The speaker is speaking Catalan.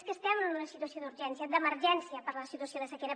és que estem en una situació d’urgència d’emergència per la situació de sequera